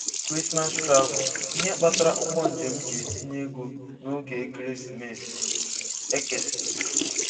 Christmas Travel: Ihe kpatara ụgwọ njem ji etinye ego n'oge Ekeresimesi -Ekeson